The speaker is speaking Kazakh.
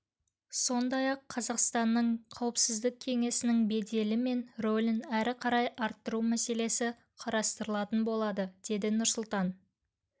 сондай-ақ қазақстанның қауіпсіздік кеңесінің беделі мен рөлін әрі қарай арттыру мәселесі қарастырылатын болады деді нұрсұлтан